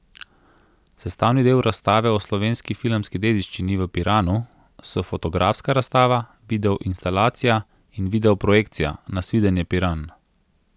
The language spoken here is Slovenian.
Sestavni del razstave o slovenski filmski dediščini v Piranu so fotografska razstava, videoinstalacija in videoprojekcija Nasvidenje, Piran.